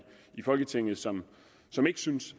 folketinget som som ikke synes